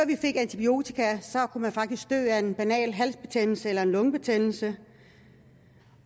vi fik antibiotika kunne man faktisk dø af en banal halsbetændelse eller en lungebetændelse